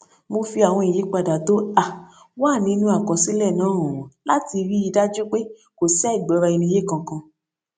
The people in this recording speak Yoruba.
mo fi àwọn ìyípadà tó um wà nínú àkọsílẹ náà hàn wón láti rí i dájú pé kò sí àìgbọraẹniyé kankan